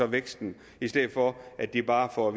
væksten i stedet for at de bare får at